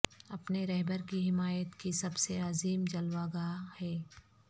اپنے رہبر کی حمایت کی سب سے عظیم جلوہ گاہ ہے